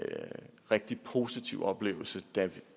rigtig positiv oplevelse da